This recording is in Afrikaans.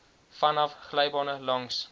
vanaf glybane langs